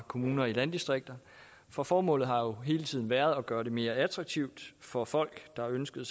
kommuner i landdistrikter for formålet har jo hele tiden været at gøre det mere attraktivt for folk der ønskede